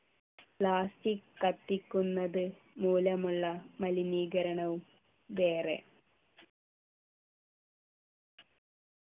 plastic കത്തിക്കുന്നത് മൂലമുള്ള മലിനീകരണവും വേറെ